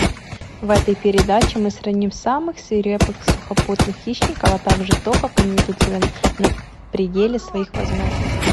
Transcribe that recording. в этом передаче мы сравним самых свирепых сухопутных хищников а также то как они ведут себя на пределе своих возможностей